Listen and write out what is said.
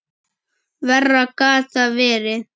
Verra gat það verið.